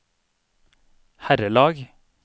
herrelag